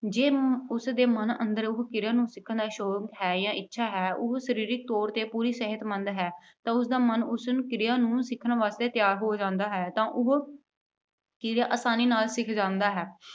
ਜੇ ਅਮ ਉਸਦੇ ਮਨ ਅੰਦਰ ਉਸ ਕਿਰਿਆ ਨੂੰ ਸਿੱਖਣ ਦਾ ਸ਼ੌਕ ਹੈ ਜਾਂ ਇੱਛਾ ਹੈ। ਉਹ ਸਰੀਰਕ ਤੌਰ 'ਤੇ ਪੂਰਾ ਸਿਹਤਮੰਦ ਹੈ ਤਾਂ ਉਸਦਾ ਮਨ ਉਸਨੂੰ, ਕਿਰਿਆ ਨੂੰ ਸਿੱਖਣ ਵਾਸਤੇ ਤਿਆਰ ਹੋ ਜਾਂਦਾ ਹੈ, ਤਾਂ ਉਹ ਕਿਰਿਆ ਆਸਾਨੀ ਨਾਲ ਸਿੱਖ ਜਾਂਦਾ ਹੈ।